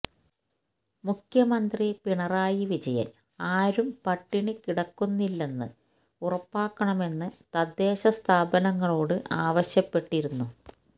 മുഖ്യമന്ത്രി പിണറായി വിജയൻ ആരും പട്ടിണി കിടക്കുന്നില്ലെന്ന് ഉറപ്പാക്കണമെന്ന് തദ്ദേശ സ്ഥാപനങ്ങളോട് ആവശ്യപ്പെട്ടിരുന്നു